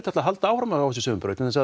ætla að halda áfram á þessari sömu braut vegna